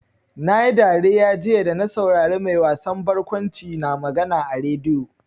Na yi dariya jiya da na saurari mai wasan barkwanci na magana a rediyo.